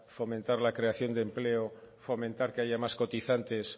fomentar la creación de empleo fomentar que haya más cotizantes